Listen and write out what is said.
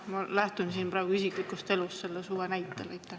Ma lähtun siin oma isiklikus elus sellel suvel toimunust.